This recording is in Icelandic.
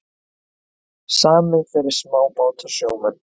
Samið fyrir smábátasjómenn